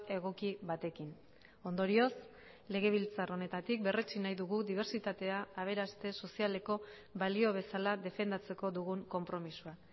egoki batekin ondorioz legebiltzar honetatik berretsi nahi dugu dibertsitatea aberaste sozialeko balio bezala defendatzeko dugun konpromisoa